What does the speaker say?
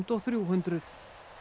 og þrjúhundruð